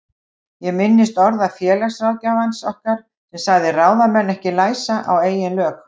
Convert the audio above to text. Ég minnist orða félagsráðgjafans okkar sem sagði ráðamenn ekki læsa á eigin lög.